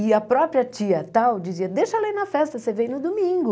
E a própria tia tal dizia, deixa ela ir na festa, você vem no domingo.